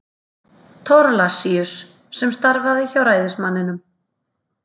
Thorlacius, sem starfaði hjá ræðismanninum.